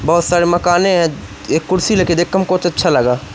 बहुत सारे मकाने हैं एक कुर्सी लेके देख हमको अच्छा लगा।